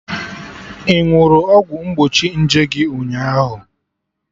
Ị ṅụrụ ọgwụ mgbochi nje gị ụnyaahụ?